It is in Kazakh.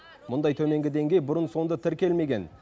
мұндай төменгі деңгей бұрын соңды тіркелмеген